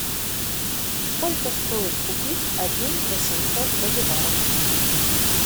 сколько стоит купить один восемьсот боливаров